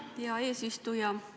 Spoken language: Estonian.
Aitäh, hea eesistuja!